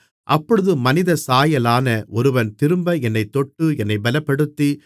அப்பொழுது மனிதசாயலான ஒருவன் திரும்ப என்னைத் தொட்டு என்னைப் பெலப்படுத்தி